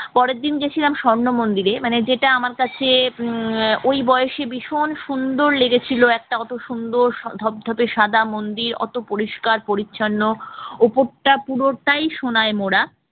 পরের দিন গেছিলাম স্বর্ণ মন্দিরে মানে যেটা আমার কাছে উম ওই বয়সে ভীষণ সুন্দর লেগেছিল একটা অত সুন্দর ধবধবে সাদা মন্দির অত পরিষ্কার-পরিচ্ছন্ন উপরটা পুরোটাই সোনায় মোরা